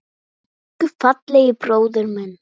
Elsku fallegi bróðir minn.